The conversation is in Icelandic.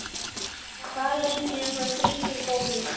Fallinn er frá drengur góður.